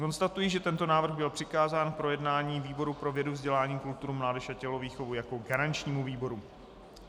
Konstatuji, že tento návrh byl přikázán k projednání výboru pro vědu, vzdělání, kulturu, mládež a tělovýchovu jako garančnímu výboru.